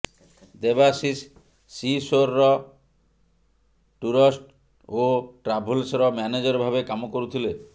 ଦେବାଶିଷ ସିସୋର ଟୁରସ ଓ ଟ୍ରାଭେଲ୍ସର ମ୍ୟାନେଜର ଭାବେ କାମ କରୁଥିଲେ